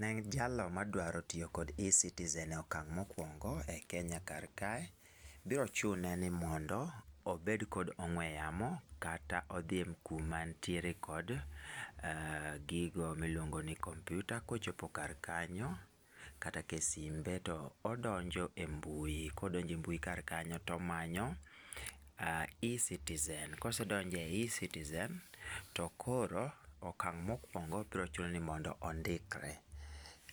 Ne jalo ma dwa tiyo gi ecitizen e okang' ma okuongo e Kenya kar kae biro chune ni mondo obed gi ong'we yamo kata odhi kuonde ma ni gi gigo mi iluongo ni kompyuta ko ochopo kar kanyo kata e sim be to odonjo e mbui ko odonjo e mbui kar kanyo to o manyo ecitizen. Ka osedonjo e ecitizen to koro okang' ma okuongo biro chuno ni mondo ondikre